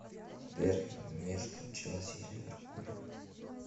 дерби между челси и ливерпулем